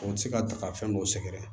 O tɛ se ka ta ka fɛn dɔw sɛgɛrɛ